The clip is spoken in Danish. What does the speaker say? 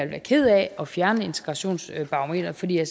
være ked af at fjerne integrationsbarometeret fordi jeg